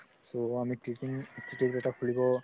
so আমি teaching institute এটা খুলিব